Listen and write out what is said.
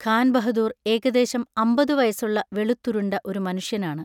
ഖാൻ ബഹദൂർ ഏകദേശം അമ്പതു വയസ്സുള്ള വെളുത്തുരുണ്ട ഒരു മനുഷ്യനാണ്.